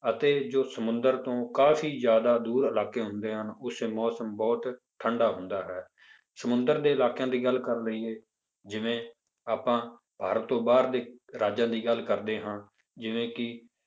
ਅਤੇ ਜੋ ਸਮੁੰਦਰ ਤੋਂ ਕਾਫ਼ੀ ਜ਼ਿਆਦਾ ਦੂਰ ਇਲਾਕੇ ਹੁੰਦੇ ਹਨ, ਉੱਥੇ ਮੌਸਮ ਬਹੁਤ ਠੰਢਾ ਹੁੰਦਾ ਹੈ, ਸਮੁੰਦਰ ਦੇ ਇਲਾਕਿਆਂ ਦੀ ਗੱਲ ਕਰ ਲਈਏ ਜਿਵੇਂ ਆਪਾਂ ਭਾਰਤ ਤੋਂ ਬਾਹਰ ਦੇ ਰਾਜਾਂ ਦੀ ਗੱਲ ਕਰਦੇ ਹਾਂ ਜਿਵੇਂ ਕਿ